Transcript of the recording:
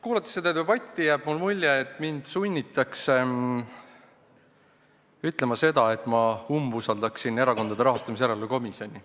Kuulates seda debatti, jääb mulle mulje, et mind sunnitakse ütlema seda, et ma umbusaldan Erakondade Rahastamise Järelevalve Komisjoni.